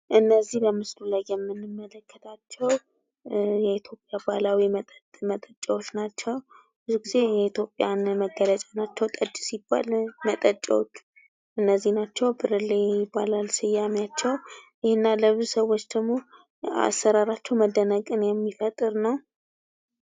እነዚህ በምስሉ ላይ የምንመለከታቸው የኢትዮጵያ ባህላዊ መጠጥ መጠጫዎች ናቸው ብዙ ጊዜ የኢትዮጵያ መገለጫዎች ናቸው:: ጠጅ ሲባል መጠጫዎቹ እነዚህ ናቸው ብርሌ ይባላሉ ስማቸው እና ለብዙ ሰዎች ደግሞ አሰራራቸው መደነቅን የሚፈጥር ነው::